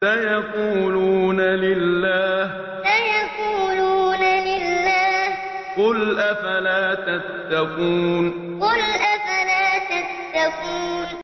سَيَقُولُونَ لِلَّهِ ۚ قُلْ أَفَلَا تَتَّقُونَ سَيَقُولُونَ لِلَّهِ ۚ قُلْ أَفَلَا تَتَّقُونَ